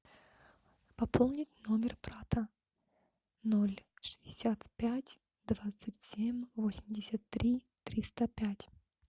пополнить номер брата ноль шестьдесят пять двадцать семь восемьдесят три триста пять